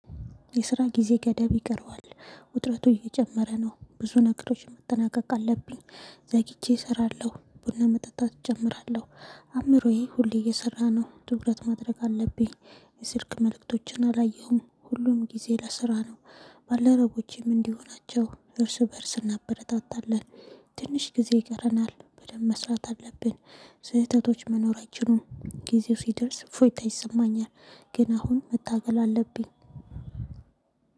የስራ ጊዜ ገደብ ይቀረዋል ውጥረቱ እየጨመረ ነው ብዙ ነገሮች መጠናቀቅ አለብኝ። ዘግቼ እሰራለሁ ቡና መጠጣት እጀምራለሁ። አእምሮዬ ሁሌ እየሰራነው ትኩረት ማድረግ አለብኝ። የስልክ መልእክቶችን አላየሁም ሁሉም ጊዜ ለስራ ነው። ባልደረቦቼም እንዲሁ ናቸው እርስ በእርስ እናበረታታለን። ትንሽ ጊዜ ይቀረናል በደንብ መስራት አለብን። ስህተቶች መኖራችንን ጊዜው ሲደርስ እፎይታ ይሰማኛል። ግን አሁን መታገል አለብኝ።